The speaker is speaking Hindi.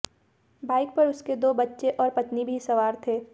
बाइक पर उसके दो बच्चे और पत्नी भी सवार थे